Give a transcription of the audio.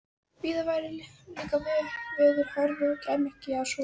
Víðar væru líka veður hörð og kæmi ekki að sök.